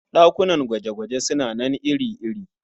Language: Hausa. Ɗakunan gwaje-gwaje suna nan iri-iri.